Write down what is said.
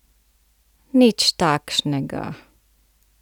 Nič takšnega!